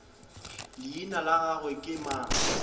leina la gagwe ke mang